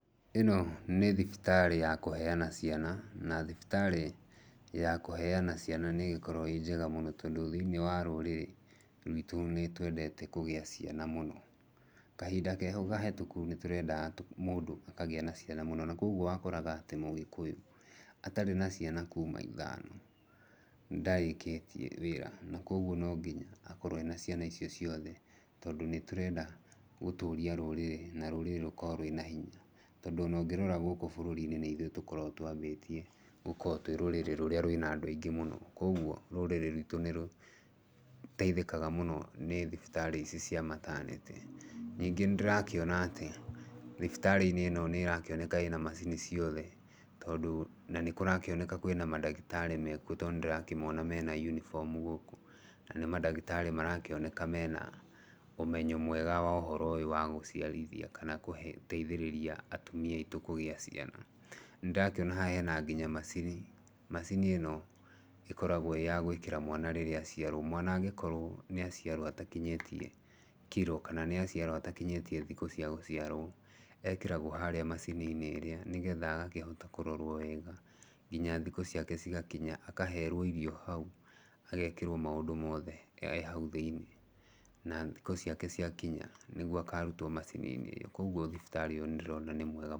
Ĩno nĩ thibitarĩ ya kũheana ciana, na thibitarĩ ya kũheana ciana nĩgĩkoragwo ĩnjega mũno tondũ thĩinĩ wa rũrĩrĩ rũitũ nĩ twendete kũgĩa ciana mũno. Kahinda kehau kahĩtũkũ nĩtũrendaga mũndũ akagĩa na ciana mũno na koguo wakoraga atĩ mũgĩkũyũ atarĩ na ciana kuma ithano, ndarĩkĩtie wĩra na koguo no nginya akorwe ena ciana icio ciothe, tondũ nĩ tũrenda gũtũria rũrĩrĩ, na rũrĩrĩ rũkorwe rwĩ na hinya. Tondũ ona ũngĩrora gũkũ bũrũrinĩ nĩ ithuĩ tũkoragwa twambĩtie gũkorwo twĩ rũrĩrĩ rũrĩa rwĩna andũ aingĩ mũno. Koguo rũrĩrĩ rũitũ nĩ rũteithĩkaga mũno nĩ thibitarĩ ici cia mataneti. Ningĩ nĩ ndĩrakĩona atĩ thibitarĩ-inĩ ĩno nĩrakĩoneka ĩna macini ciothe tondũ nĩ kũrakĩoneka kwĩna mandagĩtarĩ mekuo tondũ nĩ ndĩrakĩmona mena yunifomu gũkũ. Na nĩ mandagĩtarĩ maronekana mena ũmenyo mwega wa ũhoro ũyũ wa gũciarithia kana gũteithĩrĩria atumia aitũ kũgĩa ciana. Nĩ ndĩrakĩona haha hena nginya macini, macini ĩno ĩkoragwa ĩ yagũĩkĩra mwana rĩrĩa aciarwo. Mwana angĩkorwo nĩ aciarwo atakinyĩtie kiro, kana nĩ aciarwo atakinyĩtie thikũ ciao cia gũciarwo, ekĩragwa harĩa macini-inĩ ĩrĩa nĩgetha yakĩhota kũrorwa wega nginya thikũ ciake cigakinya. Akaherwo irio hau, agekĩrwo maũndũ mothe e hau thĩinĩ na thikũ ciake ciakinya nĩguo akarutwo macininĩ ĩyo. Koguo thibitarĩ ĩyo nĩ ndĩrona nĩ mwega.